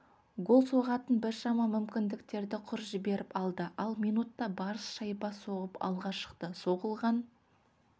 гол соғатын біршама мүмкіндіктерді құр жіберіп алды ал минутта барыс шайба соғып алға шықты соғылған